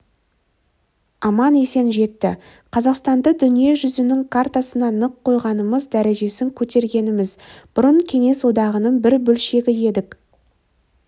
аман-есен жетті қазақстанды дүниежүзінің картасына нық қойғанымыз дәрежесін көтергеніміз бұрын кеңес одағының бір бөлшегі едік